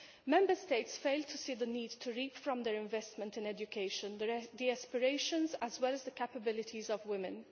Member States fail to see the need to reap from their investment in education the aspirations as well as the capabilities of women.